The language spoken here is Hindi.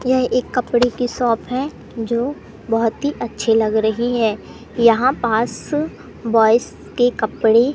यह एक कपड़े की शॉप है जो बहोत ही अच्छे लग रही है यहां पास बॉयस के कपड़े--